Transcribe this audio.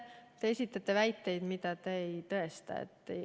Te esitate väiteid, mida te ei tõesta.